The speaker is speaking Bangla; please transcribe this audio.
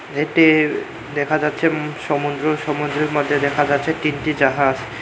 এটির দেখা যাচ্ছে উম সমুদ্র সমুদ্রের মাঝে দেখা যাচ্ছে তিনটি জাহাজ।